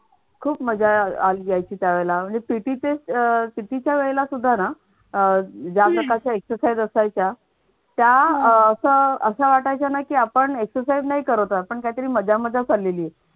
खूप मजा आली अह यायची त्या वेळेला हे पीटीचे पी टी च्या वेळेला सुद्धा ना अह जास्त शा exercise असायच्या त्या अह अशा वाटायच्या ना कि आपण exercise नाही करत आहोत आपण काहीतरी मजामजा चाललेली आहे.